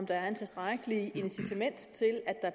der er et tilstrækkeligt incitament til at